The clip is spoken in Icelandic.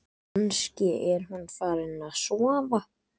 Kannski er hún farin að sofa.